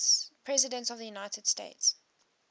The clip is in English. presidents of the united states